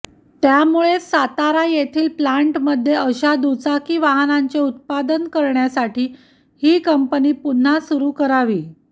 त्यामुळेच सातारा येथील प्लॅंटमध्ये अशा दुचाकी वाहनांचे उत्पादन करण्यासाठी ही कंपनी पुन्हा सुरू करावी